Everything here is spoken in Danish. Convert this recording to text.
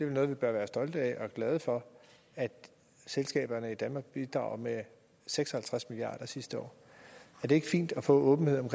vi bør vel være stolte af og glade for at selskaberne i danmark har bidraget med seks og halvtreds milliard sidste år er det ikke fint at få åbenhed om